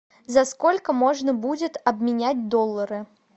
за сколько можно будет обменять доллары